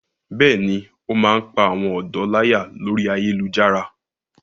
Bẹ́ẹ̀ni, ó máa ń pá àwọn ọ̀dọ́ láyà lórí ayélujára.